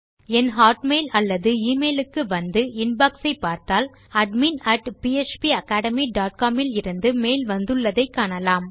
என் Hotmail அல்லது email க்கு வந்து இன்பாக்ஸ் ஐ பார்த்தால் அட்மின் பாப்பகேட்மி டாட் காம் இடமிருந்து மெயில் வந்துள்ளதை காணலாம்